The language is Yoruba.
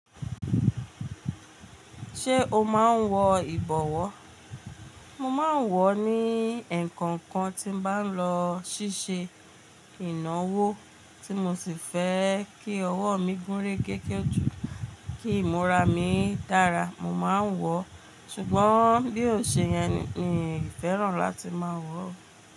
Ṣé o máa ń wọ ìbọ̀wọ́? Mo máa ń wọ̀ ní ẹ̀ẹ̀kọ̀kan tí n bá lọ ṣíṣe ìnáwó tí mo sì fẹ́ kí ọwọ́ mi gúnrégégé jù, kí ìmúra mi dára mo máa ń wọ̀, ṣùgbọ́n bí ó ṣe yẹn mi ò fẹ́ràn láti máa wọ̀.